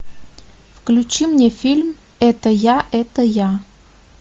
включи мне фильм это я это я